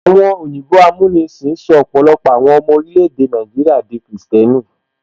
Àwọn òyìnbó amúnisìn sọ ọpọlọpọ àwọn ọmọ orílè-èdè Nàìjíríà di kìrìsìtẹ́nì